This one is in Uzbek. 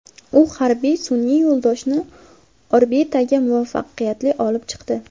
U harbiy sun’iy yo‘ldoshni orbitaga muvaffaqiyatli olib chiqdi.